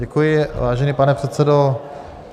Děkuji, vážený pane předsedo.